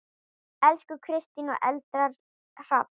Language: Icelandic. Elsku Kristín og Eldar Hrafn.